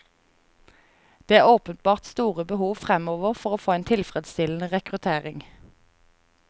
Det er åpenbart store behov fremover for å få en tilfredsstillende rekruttering.